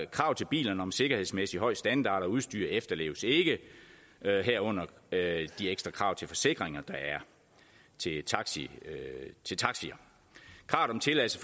krav til bilerne om sikkerhedsmæssig høj standard og udstyr efterleves ikke herunder de ekstra krav til forsikringer der er til taxier krav om tilladelse